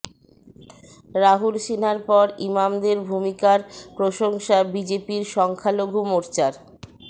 রাহুল সিনহার পর ইমামদের ভূমিকার প্রশংসা বিজেপির সংখ্যালঘু মোর্চার